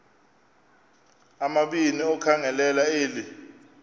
amabini okhangelela eli